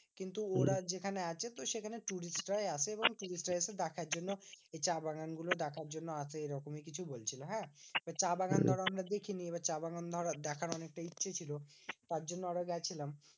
কিন্তু ওরা যেখানে আছে তো সেখানে tourist রাই আসে এবং tourist রা এসে দেখার জন্য এই চা বাগান গুলো দেখার জন্য আসে এরকমই কিছু বলছিলো, হ্যাঁ? তো চা বাগান ধরো আমরা দেখিনি। এবার চা বাগান ধরো দেখার অনেকটা ইচ্ছে ছিল তার জন্য আরো গেছিলাম।